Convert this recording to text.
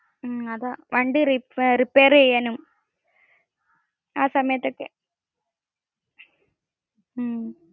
മ്മ്ഹ അതാ. വണ്ടി റിപ്പർ ചെയ്യാനും ആ സമയത്തോക്ക്കെ